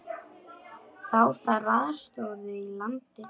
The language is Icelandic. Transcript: Þá þarf aðstöðu í landi.